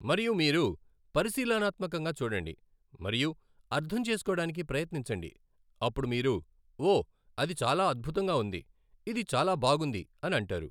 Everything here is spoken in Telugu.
మరియు మీరు పరిశీలనాత్మకంగా చూడండి మరియు అర్థం చేసుకోడానికి ప్రయత్నించండి. అప్పుడు మీరు ఓ అది చాలా అద్భుతంగా ఉంది ఇది చాలా బాగుంది అని అంటారు.